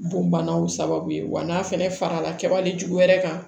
Bon banaw sababu ye wa n'a fɛnɛ farala kɛwale jugu wɛrɛ kan